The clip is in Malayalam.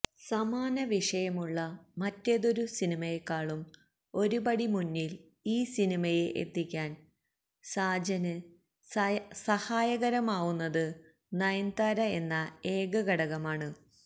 സമാനവിഷയമുള്ള മറ്റേതൊരു സിനിമയെക്കാളും ഒരു പടി മുന്നില് ഈ സിനിമയെ എത്തിക്കാന് സാജന് സഹായകരമാവുന്നത് നയന്താര എന്ന ഏക ഘടകമാണ്